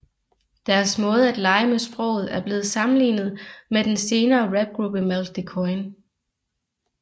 Deres måde at lege med sproget er blevet sammenlignet med den senere rapgruppe Malk de Koijn